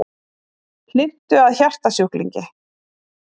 Hlynntu að hjartasjúklingi